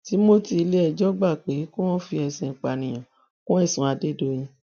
timothy iléẹjọ gbà pé kí wọn fi ìpànìyàn kún ẹsùn adédọyìn